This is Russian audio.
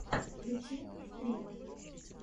включи стримы